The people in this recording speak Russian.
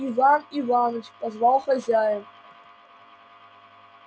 иван иваныч позвал хозяин